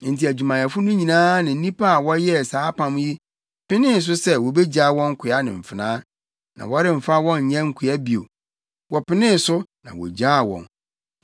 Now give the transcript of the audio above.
Enti adwumayɛfo no nyinaa ne nnipa a wɔyɛɛ saa apam yi penee so sɛ wobegyaa wɔn nkoa ne mfenaa, na wɔremfa wɔn nyɛ nkoa bio. Wɔpenee so, na wogyaa wɔn.